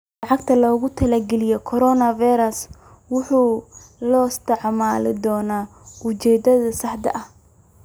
Lacagta loogu talagalay Coronavirus waxaa loo isticmaali doonaa ujeedadeeda saxda ah.